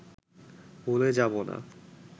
ভুলে যাবো না